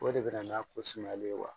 O de bɛ na n'a ko sumayalen ye wa